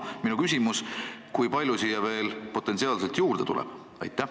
Minu küsimus: kui palju siia veel potentsiaalselt juurde tuleb?